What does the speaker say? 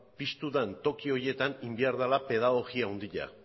piztu den toki horietan egin behar dela pedagogia handia